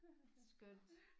Skønt